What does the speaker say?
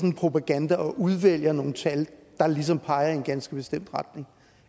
en propaganda og udvælger nogle tal der ligesom peger i en ganske bestemt retning